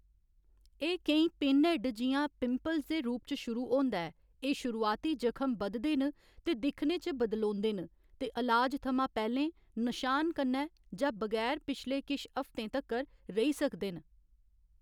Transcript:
एह्‌‌ केईं, पिनहैड्ड जि'यां पिंपल्स दे रूप च शुरू होंदा ऐ, एह्‌‌ शुरुआती जखम बधदे न ते दिक्खने च बदलोंदे न ते अलाज थमां पैह्‌लें, नशान कन्नै जां बगैर पिछले किश हफ्तें तक्कर रेही सकदे न।